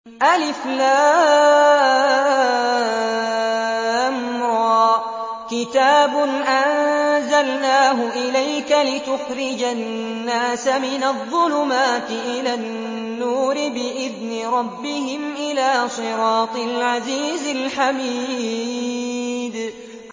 الر ۚ كِتَابٌ أَنزَلْنَاهُ إِلَيْكَ لِتُخْرِجَ النَّاسَ مِنَ الظُّلُمَاتِ إِلَى النُّورِ بِإِذْنِ رَبِّهِمْ إِلَىٰ صِرَاطِ الْعَزِيزِ الْحَمِيدِ